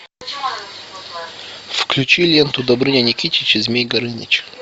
включи ленту добрыня никитич и змей горыныч